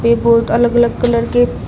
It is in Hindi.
ये बहोत अलग अलग कलर के--